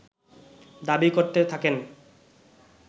দাবী করতে থাকেন